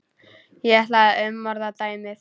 Ég ætla að umorða dæmið.